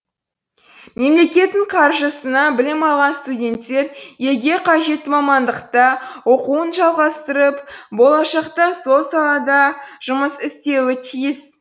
мемлекеттің қаржысына білім алған студенттер елге қажетті мамандықта оқуын жалғастырып болашақта сол салада жұмыс істеуі тиіс